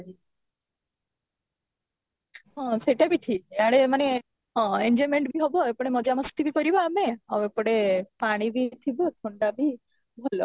ହଁ, ସେଇଟା ବି ଠିକ ୟାଡେ ମାନେ ହଁ enjoyment ବି ହେବ ଏପଟେ ମଜା ମସ୍ତି ବି କରିବା ଆମେ ଆଉ ଏପଟେ ପାଣି ବି ଥିବ ଥଣ୍ଡା ବି ଭଲ